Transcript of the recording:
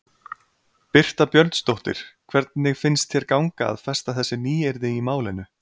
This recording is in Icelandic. Birta Björnsdóttir: Hvernig finnst þér ganga að festa þessi nýyrði í málinu?